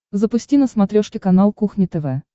запусти на смотрешке канал кухня тв